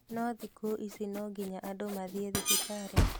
No thikũ ici no nginya andũ mathiĩ thibitarĩ